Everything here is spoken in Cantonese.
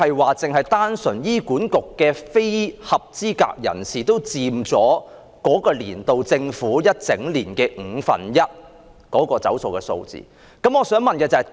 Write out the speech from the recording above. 換言之，單是非合資格人士拖欠醫管局的款項，已佔政府該年度被"走數"總額的五分之一。